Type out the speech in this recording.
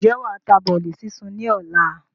Ǹjẹ́ wàá ta bọ́lì súnsun ni ọ̀la?